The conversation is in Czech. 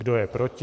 Kdo je proti?